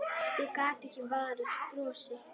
Ég gat ekki varist brosi.